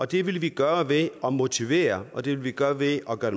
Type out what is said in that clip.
det vil vi gøre ved at motivere og det vil vi gøre ved at gøre